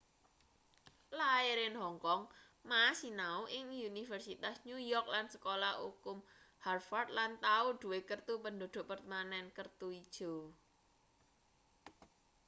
lair in hong kong ma sinau ing universitas new york lan sekolah ukum harvard lan tau duwe kertu penduduk permanen kertu ijo